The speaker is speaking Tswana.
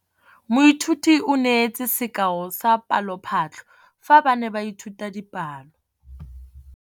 Moithuti o neetse sekaô sa palophatlo fa ba ne ba ithuta dipalo.